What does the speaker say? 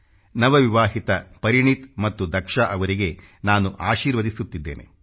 ನವವಿವಾಹಿತ ಭರತ್ ಮತ್ತು ದಕ್ಷಾ ಅವರಿಗೆ ನಾನು ಆಶೀರ್ವದಿಸುತ್ತಿದ್ದೇನೆ